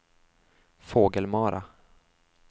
Fågelmara